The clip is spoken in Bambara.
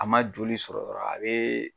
A ma joli sɔrɔ dɔrɔn, a be